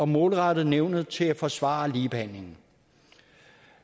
målrettet nævnet til at forsvare ligebehandling